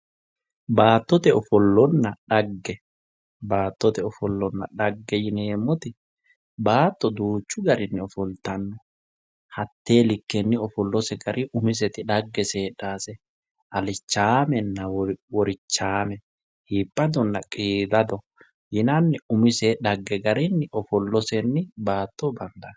Baattote ofollonna dhagge, baattote ofollonna dhagge yineemmoti baatto duuchu garinni ofolittanno hate likkenni ofollote dhaggese heedhanose alichamenna worichame iibbadonna qiidado yinnanni umise dhagge garinni ofollosenni baatto bandanni.